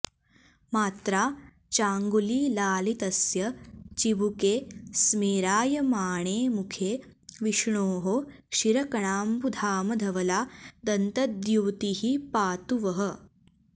मात्रा चाङ्गुलिलालितस्य चिबुके स्मेरायमाणे मुखे विष्णोः क्षीरकणाम्बुधामधवला दन्तद्युतिः पातु वः